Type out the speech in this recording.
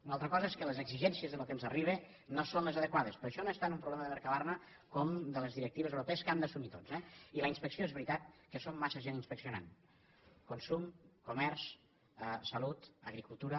una altra cosa és que les exigències del que ens arriba no són les adequades però això no és tant un problema de mercabarna com de les directives europees que hem d’assumir tots eh i en la inspecció és veritat que som massa gent inspeccionant consum comerç salut agricultura